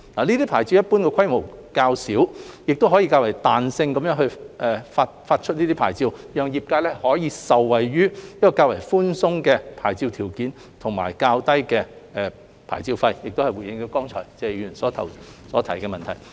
這些牌照一般規模較小，可以較彈性的發牌方式發出，讓業界可受惠於較寬鬆的牌照條件及較低的牌照費，亦間接回應了剛才謝議員所提出的問題。